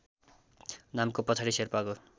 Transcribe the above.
नामको पछाडि शेर्पाको